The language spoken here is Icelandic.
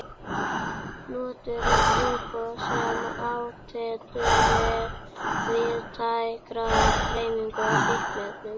NOTUÐU TRÚBOÐ SEM ÁTYLLU TIL VÍÐTÆKRAR DREIFINGAR Á FÍKNIEFNUM.